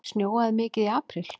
Snjóaði mikið í apríl?